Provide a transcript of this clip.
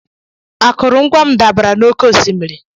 Akụrụngwa m dabara n'oké osimiri.